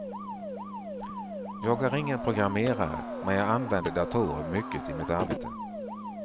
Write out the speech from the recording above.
Jag är ingen programmerare men jag använder datorer mycket i mitt arbete.